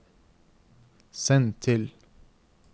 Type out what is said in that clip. send til